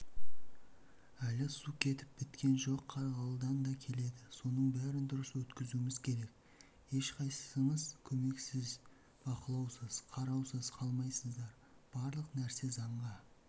әлі су кетіп біткен жоқ қарғалыдан да келеді соның бәрін дұрыс өткізуіміз керек ешқайсысыңыз көмексіз бақылаусыз қараусыз қалмайсыздар барлық нәрсе заңға